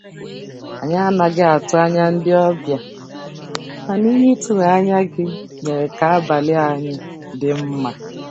Anyị anaghị atụ anya ndị obịa, mana ihe ịtụnanya gị mere ka abalị anyị dị mma.